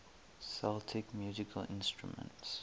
celtic musical instruments